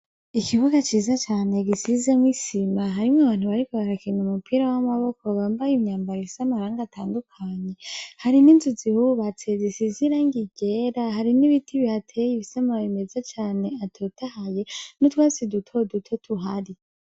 Ikibuga ciza cane gisizemwo isima harimwo abantu bariko barakina umupira w'amaboko bambaye imyambaro ifise amarangi atandukanye, hari n'inzu zihububatse zisize irangi ryera, hari n'ibiti bihateye bifise amababi meza cane atotahaye n'utwatsi duto duto tuhari.